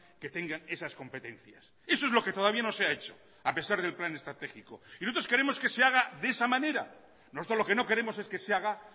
que tengan esas competencias eso es lo que todavía no se ha hecho a pesar del plan estratégico nosotros queremos que se haga de esa manera nosotros lo que no queremos es que se haga